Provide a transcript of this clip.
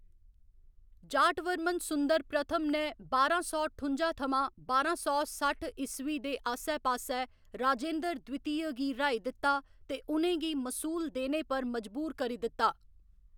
जाटवर्मन सुंदर इक ने बारां सौ ठुं'जा थमां बारां सौ सट्ठ ईस्वी दे आस्सै पास्सै राजेन्द्र द्वितीय गी र्‌हाई दित्ता ते उ'नें गी मसूल देने पर मजबूर करी दित्ता।